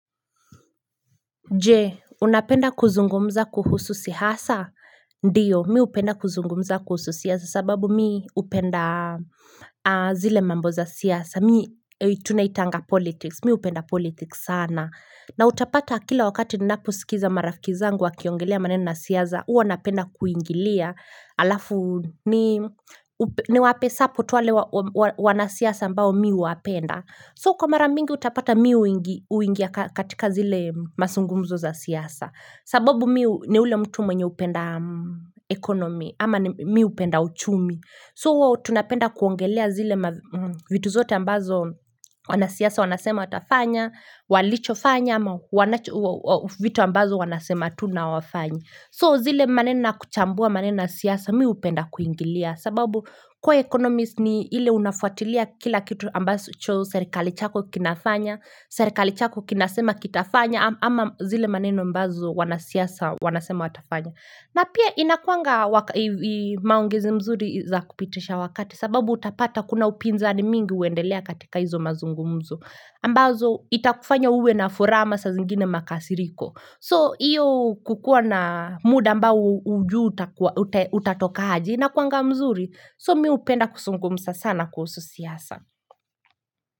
Je, unapenda kuzungumza kuhusu siasa? Ndiyo, mi hupenda kuzungumza kuhusu siasa sababu mi hupenda zile mambo za siasa. Mi tunaitanga politics, mi hupenda politics sana. Na utapata kila wakati ninaposikiza marafiki zangu wakiongelea maneno siasa, huwa napenda kuingilia. Alafu niwape support wale wanasiasa ambao mi huwapenda. So kwa mara mingi utapata mi huingia katika zile mazungumzo za siasa sababu mi ni ule mtu mwenye hupenda economy ama mi hupenda uchumi So tunapenda kuongelea zile vitu zote ambazo wanasiaasa wanasema watafanya Walichofanya ama vitu ambazo wanasema tu na hawafanya So zile maneno kuchambua maneno siasa mi hupenda kuingilia sababu kwa economist ni ile unafuatilia kila kitu ambacho serikali chako kinafanya Serikali chako kinasema kitafanya ama zile maneno ambazo wanasiasa wanasema watafanya na pia inakuanga maongezi mzuri za kupitisha wakati sababu utapata kuna upinzani mingi huendelea katika hizo mazungumzu ambazo itakufanya uwe na furaha ama sa zingine makasiriko So hiyo kukua na muda ambao hujui utatoka aje inakuanga mzuri, so mi hupenda kuzungumza sana kuhusu siasa.